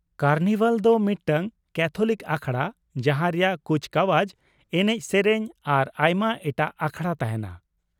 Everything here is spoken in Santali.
ᱠᱟᱨᱱᱤᱵᱷᱟᱞ ᱫᱚ ᱢᱤᱫᱴᱟᱝ ᱠᱮᱛᱷᱞᱤᱠ ᱟᱠᱷᱲᱟ ᱡᱟᱦᱟᱸ ᱨᱮᱭᱟᱜ ᱠᱩᱪᱠᱟᱣᱟᱡ, ᱮᱱᱮᱡ, ᱥᱮᱨᱮᱧ ᱟᱨ ᱟᱭᱢᱟ ᱮᱴᱟᱜ ᱟᱠᱷᱲᱟ ᱛᱟᱦᱮᱱᱟ ᱾